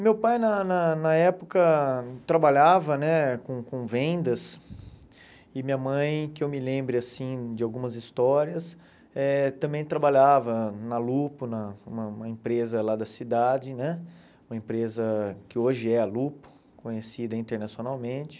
Meu pai, na na na época, trabalhava né com com vendas e minha mãe, que eu me lembre assim de algumas histórias, eh também trabalhava na Lupo, na uma uma empresa lá da cidade né, uma empresa que hoje é a Lupo, conhecida internacionalmente.